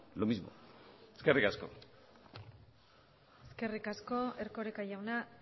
lo mismo eskerrik asko eskerrik asko erkoreka jauna